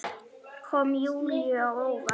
Kom Júlíu á óvart.